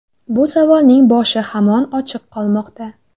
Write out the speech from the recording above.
Bu savolning boshi hamon ochiq qolmoqda.